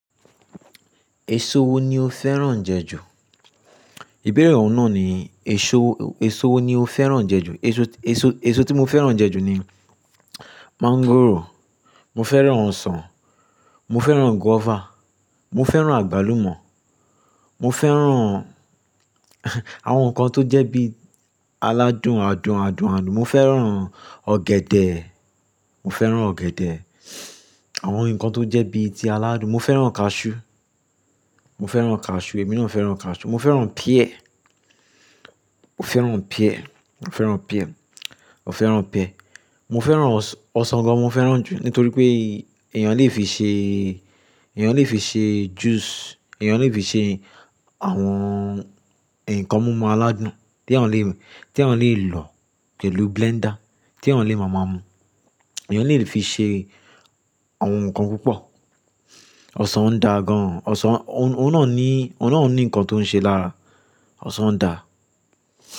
Èso wo ni o fẹ́ràn jẹ ju? Ìbéèrè ọ̀ún náà ní, èso wo ni o fẹ́ràn jẹ ju? Èso, èso, èso tí mo fẹ́ràn jẹ ju ni mọ́ngòrò, mo fẹ́ràn ọsàn, mo fẹ́ràn guavà, mo fẹ́ràn àgbálùmọ́, mo fẹ́ràn àwọn nǹkan tó jẹ́ bí aládùn adùn adùn adùn. Mọ fẹ́ràn ọ̀gẹ̀dẹ̀, mọ fẹ́ràn ọ̀gẹ̀dẹ̀. Àwọn nǹkan tó jẹ́ bíi ti aládùn. Mo fẹ́ràn cashew, mo fẹ́ràn cashew, èmi naa fẹ́ràn cashew. Mọ fẹ́ràn pear, mo fẹ́ràn pear, mo fẹ́ràn pear, mo fẹ́ràn pear. Mo fẹ́ràn ọsàn gan mo fẹ́ràn jù nítorí pé èèyàn lè fi ṣe, èèyàn lè fi ṣe juice, èèyàn lè fi ṣe àwọn nǹkan mumú aládùn tí eeyan lè- tí eeyan lè lò pẹ̀lú blender, tí eeyan lè máa mu. Èèyàn lè fi ṣe àwọn nǹkan púpọ̀. Ọsàn ń da gan. Ọsàn ó, ó náà ní, ó náà ní nǹkan tó ń ṣe lára. Ọsàn da.